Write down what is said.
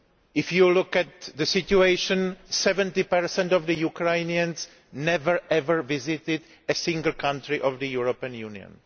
If you look at the situation, 70 of Ukrainians have never ever visited a single country of the European Union.